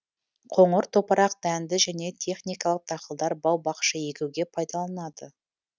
қоңыр топырақ дәнді және техникалық дақылдар бау бақша егуге пайдаланылады